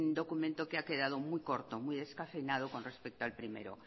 documento que ha quedado muy corto muy descafeinado con respecto al primero